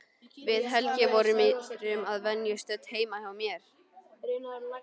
Við Helgi vorum að venju stödd heima hjá mér.